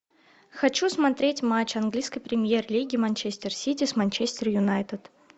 хочу смотреть матч английской премьер лиги манчестер сити с манчестер юнайтед